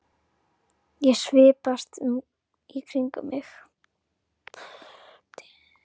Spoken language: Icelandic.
Ég svipast um í kringum mig.